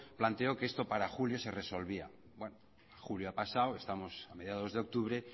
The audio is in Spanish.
planteó que esto para julio se resolvía bueno julio ha pasado estamos a mediados de octubre